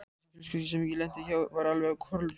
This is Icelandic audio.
Þessi fjölskylda sem ég lenti hjá var alveg kolrugluð.